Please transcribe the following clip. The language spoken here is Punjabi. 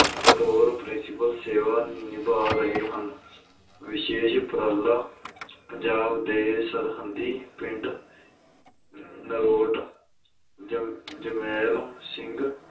ਬਤੌਰ principal ਸੇਵਾ ਨਿਭਾ ਰਹੇ ਹਨ ਵਿਸ਼ੇਸ਼ ਉਪਰਾਲਾ ਪੰਜਾਬ ਦੇ ਸਰਹੱਦੀ ਪਿੰਡ ਨਰੋਟ ਜ~ ਜਮੈਲ ਸਿੰਘ